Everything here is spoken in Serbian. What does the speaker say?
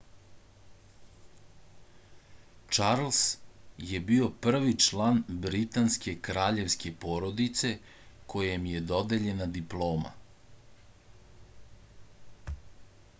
čarls je bio prvi član britanske kraljevske porodice kojem je dodeljena diploma